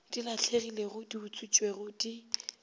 di lahlegilego di utswitšwego di